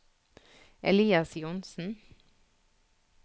Elias Johnsen